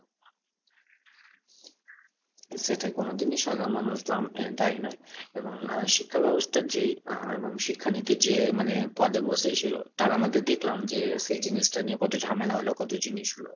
সেটাই কোনদিনই সাধারণ মানুষ দায়ী নয়। এবং শিক্ষা ব্যবস্থার যে আহ এবং শিক্ষানীতির যে মানে পদে বসে ছিল তারা আমাদের দেখলাম যে সেই জিনিসটা নিয়ে কত ঝামেলা হলো কত জিনিস হল